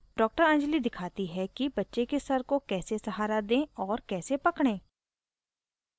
डॉ anjali दिखाती है कि बच्चे के dr को कैसे सहारा दें और कैसे पकड़ें